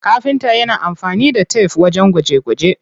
Kafinta yana amfani da tef wajen gwaje gwaje.